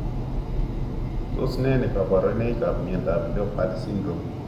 Tos ne kaborunoikab miondop leopard syndrome?